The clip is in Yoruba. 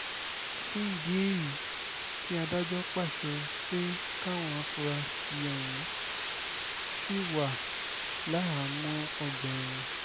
fún ìdí èyí kí adájọ́ pàṣẹ pé káwọn afurasí ọ̀hún ṣì wà láhàámọ́ ọgbà ẹ̀wọ̀n